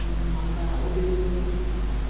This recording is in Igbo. um maka obere oge.